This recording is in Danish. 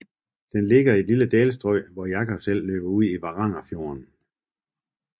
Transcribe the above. Den ligger i et lille dalstrøg hvor Jakobselv løber ud i Varangerfjorden